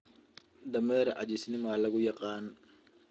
Dameer caajisnimo lagu yaqaan.